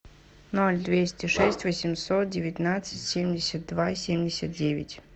ноль двести шесть восемьсот девятнадцать семьдесят два семьдесят девять